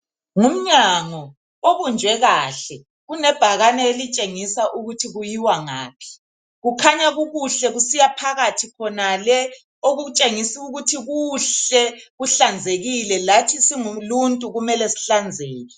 Ngumnyango obunjwe kahle unebhakane elitshengisa ukuthi kuyiwa ngaphi kukhanya kukuhle kusiya phakathi khonale okutshengisa ukuthi kuhle kuhlanzekile lathi singuluntu kumele sihlanzeke.